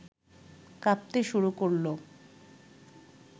কাঁপতে শুরু করল